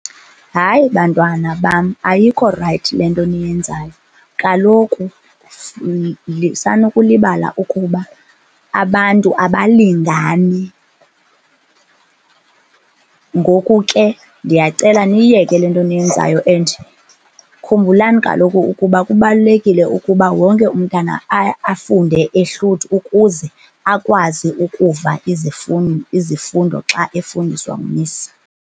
Hayi, bantwana bam, ayikho rayithi le nto niyenzayo. Kaloku sanukulibala ukuba abantu abalingani. Ngoku ke, ndiyacela niyiyeke le nto niyenzayo and khumbulani kaloku ukuba kubalulekile ukuba wonke umntana afunde ehluthi ukuze akwazi ukuva izifundo xa efundiswa ngumisi.